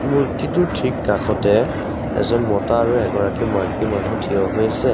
মূৰ্তিটোৰ ঠিক কাষতে এজন মতা আৰু এগৰাকী মাইকী মানুহ থিয় হৈ আছে।